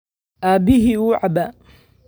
Aabihii wuu cabbaa